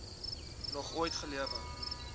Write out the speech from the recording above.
nog ooit gelewe